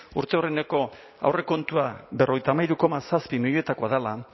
urte aurreneko aurrekontua berrogeita hamairu koma zazpi milioikoa dela